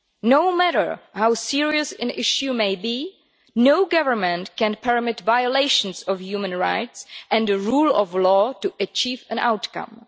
No matter how serious an issue may be, no government can permit violations of human rights and the rule of law to achieve an outcome.